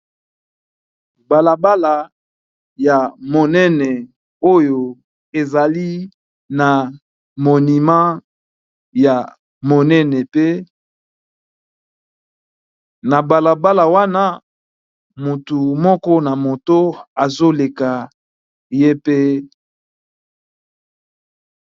balabala ya monene oyo ezali na monima ya monene pe na balabala wana motu moko na moto azoleka ye pe